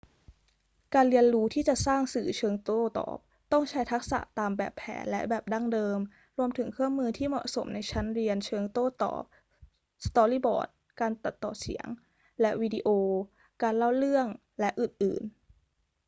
การเรียนรู้ที่จะสร้างสื่อเชิงโต้ตอบ ต้องใช้ทักษะตามแบบแผนและแบบดั้งเดิม รวมถึงเครื่องมือที่เหมาะสมในชั้นเรียนเชิงโต้ตอบ สตอรี่บอร์ด การตัดต่อเสียงและวิดีโอ การเล่าเรื่อง และอื่น ๆ